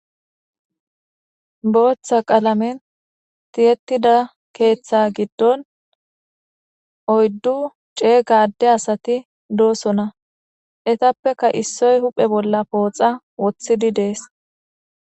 Booththa qalamen tiyetida keeththa giddon oyddu ceega adde asati doosona. Ettappekka issoy pooxa huuphe bolla wotidi de7ees.